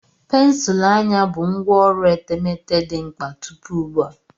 Pensụl anya bụ ngwá ọrụ etemeete dị mkpa tupu ugbu a.